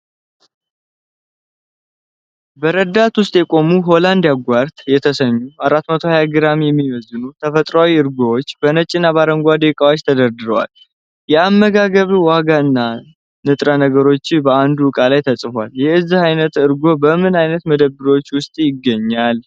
በረዳት ውስጥ የቆሙ "Holland Yoghurt" የተሰኙ፣ 420 ግራም የሚመዝኑ፣ ተፈጥሯዊ እርጎዎች በነጭና አረንጓዴ ዕቃዎች ተደርድረዋል። የአመጋገብ ዋጋና ንጥረ ነገሮች በአንዱ ዕቃ ላይ ተጽፏል። የዚህ አይነት እርጎ በምን አይነት መደብሮች ውስጥ ይገኛል?